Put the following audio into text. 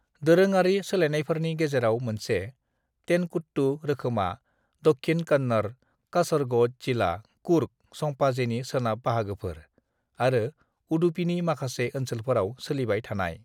"दोरोङारि सोलायनायफोरनि गेजेराव मोनसे, तेनकुट्टु रोखोमा दक्षिण कन्नड़, कासरगोड जिला, कुर्ग (संपाजे) नि सोनाब बाहागोफोर, आरो उडुपीनि माखासे ओनसोलफोराव सोलिबाय थानाय।"